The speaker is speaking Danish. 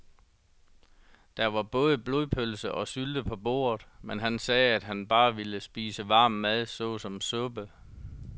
Der var både blodpølse og sylte på bordet, men han sagde, at han bare ville spise varm mad såsom suppe.